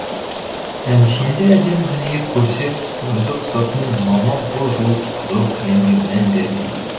әншейінде әдемі дүние көрсе көзі қызатын мамам бұл жолы қызыл кілемге мән бермеді